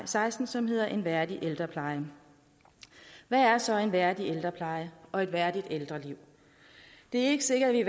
seksten som hedder en værdig ældrepleje hvad er så en værdig ældrepleje og et værdigt ældreliv det er ikke sikkert at